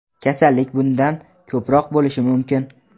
kasallik bundan ko‘proq bo‘lishi mumkin.